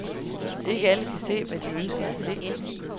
Ikke alle kan se, hvad de ønsker at se.